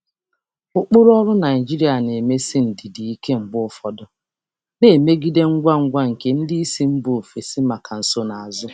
Ụkpụrụ ọrụ Naijiria na-emesi ndidi ike mgbe ụfọdụ, na-emegide ngwa ngwa nke ndị isi mba ofesi maka nsonaazụ.